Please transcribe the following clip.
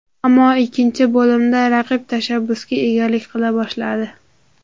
Ammo ikkinchi bo‘limda raqib tashabbusga egalik qila boshladi.